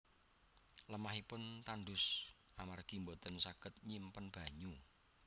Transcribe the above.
Lemahipun tandus amargi boten saged nyimpen banyu